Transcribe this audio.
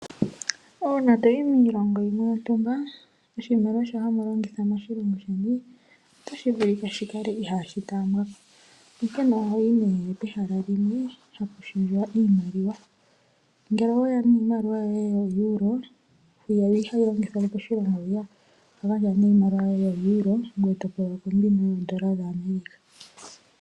Uuna to yi miioongo yimwe yontumba, oshimaliw ashoka hamu longitha otashi vulika shi kale ihaashi taambiwa ko, onkene oho yi nduno pehala limwe mpoka hapu shendjwa iimaliwa. Ngele owe ya niimaliwa yoye yooeuro, yo ihayi longithwa mo moshilongo moka, oho gandja nduno iimaliwa yoye yooeuro ngoye to pewa nduno yoodola dhaAmerica.